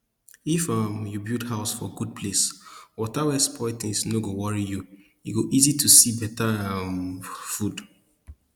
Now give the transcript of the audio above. if um you build house for good place water wey spoil things no go worry you e go easy to see better um food